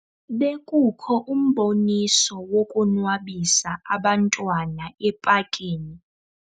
Bekukho umboniso wokonwabisa abantwana epakini.